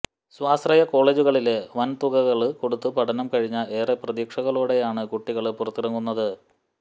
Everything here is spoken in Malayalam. സ്വാശ്രയകോളെജുകളില് വന് തുകകള് കൊടുത്ത് പഠനം കഴിഞ്ഞ ഏറെ പ്രതീക്ഷകളോടെയാണ് കുട്ടികള് പുറത്തിറങ്ങുന്നത്